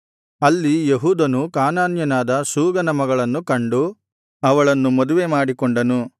ಅಲ್ಲಿ ಯೆಹೂದನು ಕಾನಾನ್ಯನಾದ ಶೂಗನ ಮಗಳನ್ನು ಕಂಡು ಅವಳನ್ನು ಮದುವೆ ಮಾಡಿಕೊಂಡನು